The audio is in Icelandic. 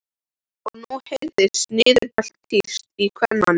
Og nú heyrðist niðurbælt tíst í kvenmanni!